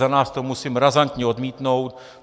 Za nás to musím razantně odmítnout.